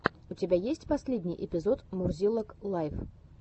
у тебя есть последний эпизод мурзилок лайв